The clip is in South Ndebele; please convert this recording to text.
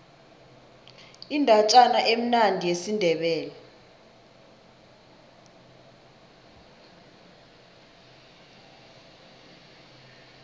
indatjana emnandi yesindebele